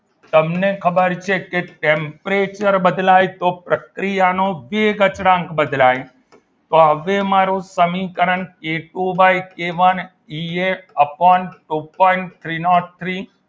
તમને ખબર છે કે temperature બદલાય તો પ્રક્રિયાનો વેગ અચળાંક બદલાય તો હવે મારું સમીકરણ ઘેટુ બાય કે one two point three nought three